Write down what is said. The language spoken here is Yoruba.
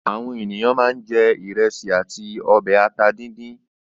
Àwọn ènìyàn máa ń jẹ ìrẹsì àti ọbẹ̀ ata dídín.